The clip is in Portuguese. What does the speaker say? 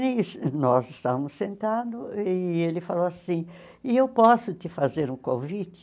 Nem nós estávamos sentados e ele falou assim, e eu posso te fazer um convite?